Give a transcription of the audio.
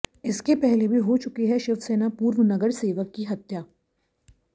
इसके पहले भी हो चुकी है शिवसेना पूर्व नगरसेवक की हत्या